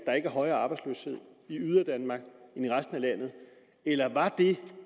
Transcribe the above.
er en højere arbejdsløshed i yderdanmark end i resten af landet eller var det